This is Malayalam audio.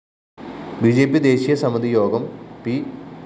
ബി ജെ പി ദേശീയസമിതി യോഗം പി